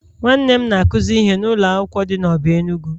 Nwanne m na-akuzi ihe na ụlọ akwụkwọ di na Obe Enugu..